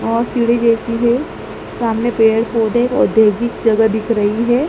और सीढ़ी जैसी है सामने पेड़ पौधे औद्योगिक जगह दिख रही है।